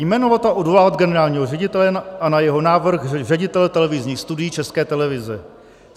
jmenovat a odvolávat generálního ředitele a na jeho návrh ředitele televizních studií České televize;